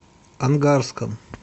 ангарском